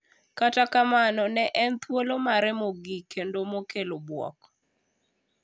Kata kamano ne en thuolo mare mogik kendo makelo buok.